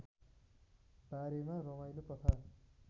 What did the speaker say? बारेमा रमाइलो कथा